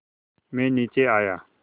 मैं नीचे आया